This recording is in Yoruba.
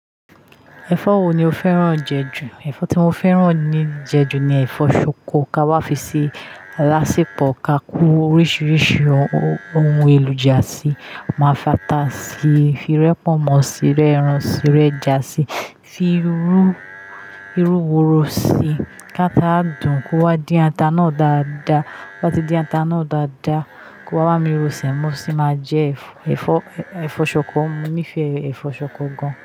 Ẹ̀fọ́ wo ni o fẹ́ràn jẹ jù? Ẹ̀fọ́ tí mo fẹ́ràn je jù ni ẹ̀fọ́ ṣọkọ, ka wá fi ṣe alásepọ̀, ka ko oríṣiríṣi ohun èrojá sí, máa fàtà sí i, fi rẹ pọ̀nmọ́ sí i, rẹ ẹran sí i, rẹjá sí, fi irú- irú woro sí i ká tá dùn, kó wá dín ata náà dáadáa. To ba ti dín ata náà dáadáa, kó wá bámi ro Sẹ̀mọ́ sí i, máa jẹ ẹ̀fọ́- ẹ̀fọ́- ẹ̀fọ́ ṣọkọ. Mo nífẹ̀ẹ́ ẹ̀fọ́ ṣọkọ gan.